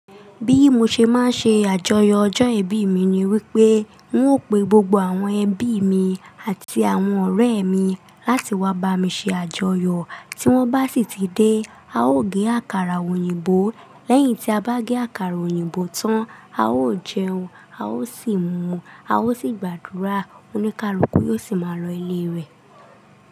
Bí mo ṣe máa ṣe àjọyọ̀ ọjọ́ ìbí mi ni wípé n óò pe gbogbo àwọn ẹbí mi àti àwọn ọ̀rẹ́ mi láti wá bá mi ṣe àjọyọ̀. Tí wón bá sì ti dé, a óò gé àkàrà òyìnbó. Lẹ́yìn tí a bá gé àkàrà òyìnbó tán, a óò jẹun, a ó sì mu, a ó sì gbàdúrà. Oníkálukú yóò sì máa lọ ilé rẹ̀.